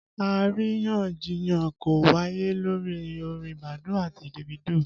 Àríyànjiyàn kan wáyé lórí orin Badoo àti Davido